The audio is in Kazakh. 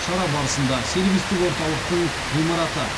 шара барысында сервистік орталықтың ғимараты